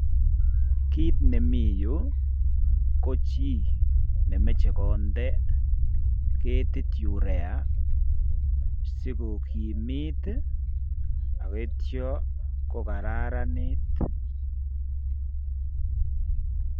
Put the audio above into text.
Kit nemi yu ko chi nemeche konde ketit Urea sikokimit, akoityo kokararanit.